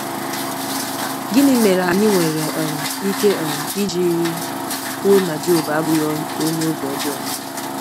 Gịnị mere anyị nwere um ike um iji kwuo na Job abụghị onye obi ọjọọ?